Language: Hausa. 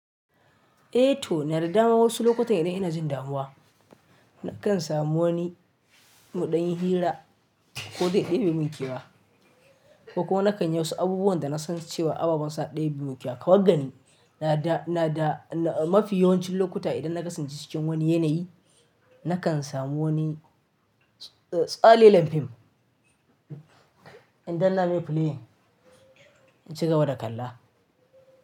Eh to na yarda ma wasu lokutan idan ina jin damuwa, na kan samu wani mudanyi hira ko dai ɗebi mun kewa, ko kuma nakan yi wasu abubuwan da na san cewa ababan sa ɗebi mu kewa. Kawai gani na da mafi yawancin lokuta idan na kasance cikin wani yanayi, na kan samu wani tsalle lem fim inda na maye play na ci gaba da kalla.